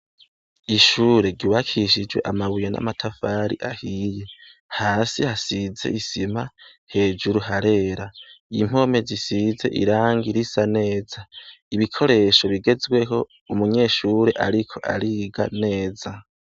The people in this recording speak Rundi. Ishure ryubakishije amabuye n'amatafari ahiye. Hasi hasize isima, hejuru harera. Impome zisize irangi risa neza, ibikoresho bigezweho, umunyeshure ariko ariga neza.